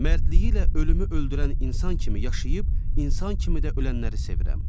Mərdliyi ilə ölümü öldürən insan kimi yaşayıb, insan kimi də ölənləri sevirəm.